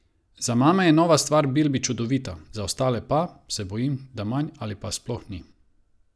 Za mame je nova stvar Bilbi čudovita, za ostale pa, se bojim, da manj ali pa sploh ni.